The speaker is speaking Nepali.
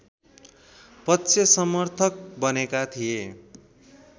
पक्षसमर्थक बनेका थिए